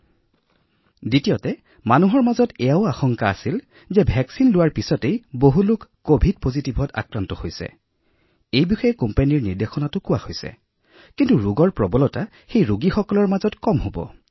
আৰু অৱশ্যে লোকসকলৰ মাজত আন এটা আশংকাও আছিল যে টীকাকৰণৰ পিছত কিছুমান লোকে অৰ্থাৎ টীকাকৰণৰ পিছতো পজিটিভ হৈছে কোম্পানীবোৰৰ পৰা নিৰ্দেশনা প্ৰকাশ কৰা হৈছে যে যদি কাৰোবাক টীকাকৰণ কৰা হয় তাৰ পিছতো পজিটিভ হব পাৰে